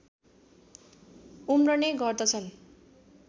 उम्रने गर्दछन्